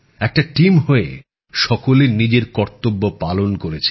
একটা টিম হয়ে সকলে নিজের কর্তব্যপালন করেছেন